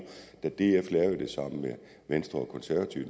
at da df lavede det sammen med venstre og konservative